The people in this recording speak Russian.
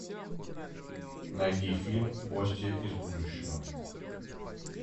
найди фильм гостья из будущего